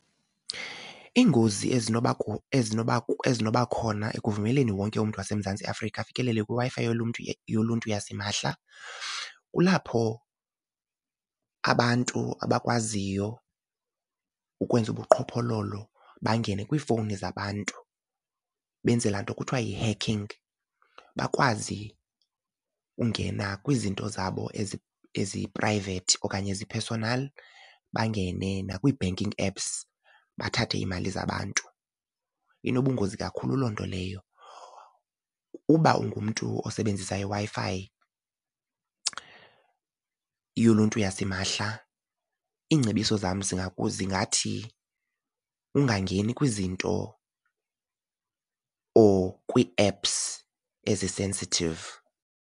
Iingozi ezinobakho ezinobakhona ekuvumeleni wonke umntu waseMzantsi Afrika afikelele kwiWi-Fi yoluntu yoluntu yasimahla kulapho abantu abakwaziyo ukwenza ubuqhophololo bangene kwiifowuni zabantu benze laa nto kuthiwa yi-hacking, bakwazi ungena kwizinto zabo ezi-private okanye ezi-personal bangene nakwi-banking apps bathathe iimali zabantu. Inobungozi kakhulu loo nto leyo. Uba ungumntu osebenzisa iWi-Fi yoluntu yasimahla iingcebiso zam zingathi ungangeni kwizinto or kwii-apps ezi-sensitive.